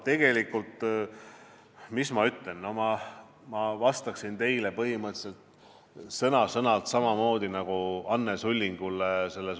Tegelikult ma vastaksin teile sõna-sõnalt samamoodi nagu Anne Sullingule.